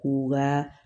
K'u ka